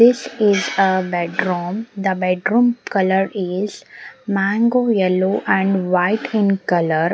this is a bed room the bed room colour is mango yellow and white in colour.